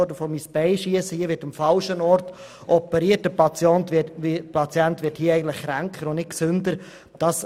Ich würde sagen, dass hier am falschen Ort operiert wird und der Patient dadurch eher kränker als gesünder wird.